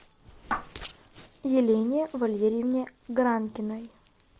елене валерьевне гранкиной